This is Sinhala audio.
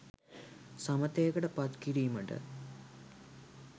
සමථයකට පත් කිරීමට